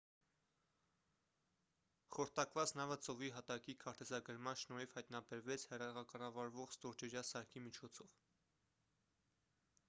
խորտակված նավը ծովի հատակի քարտեզագրման շնորհիվ հայտնաբերվեց հեռակառավարվող ստորջրյա սարքի միջոցով